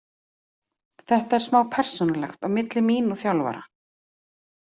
Þetta er smá persónulegt á milli mín og þjálfara.